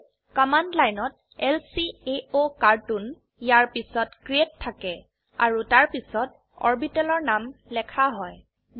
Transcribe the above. সেয়ে কমান্ড লাইনত ল্কাওকাৰ্টুন ইয়াৰ পিছত ক্ৰিএট থাকে আৰু তাৰপিছত অৰবিটেলৰ নাম লেখা হয়